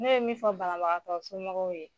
Ne be min fɔ banabagatɔ somɔgɔw ye.